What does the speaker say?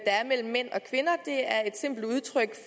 simpelt udtryk